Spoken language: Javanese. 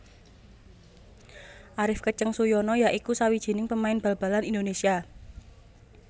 Arif Keceng Suyono ya iku sawijining pemain bal balan Indonésia